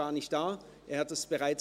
Er ist nicht hier.